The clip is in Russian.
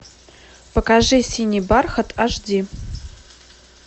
покажи синий бархат аш ди